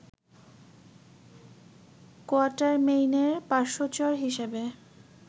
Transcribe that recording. কোয়াটারমেইনের পার্শ্বচর হিসেবে